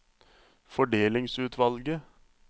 fordelingsutvalget